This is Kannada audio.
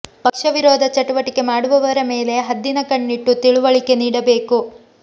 ಪಕ್ಷ ವಿರೋಧ ಚಟುವಟಿಕೆ ಮಾಡುವವರ ಮೇಲೆ ಹದ್ದಿನ ಕಣ್ಣಿಟ್ಟು ತಿಳುವಳಿಕೆ ನೀಡಬೇಕು